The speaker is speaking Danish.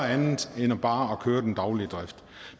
andet end bare at køre den daglige drift